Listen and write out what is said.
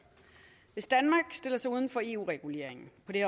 hvis danmark stiller sig uden for eu reguleringen på det